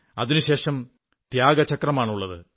അതിനുശേഷം ത്യാഗചക്രമാണുള്ളത്